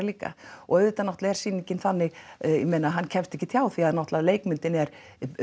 líka og auðvitað er sýningin þannig ég meina hann kemst ekkert hjá því að náttúrulega leikmyndin er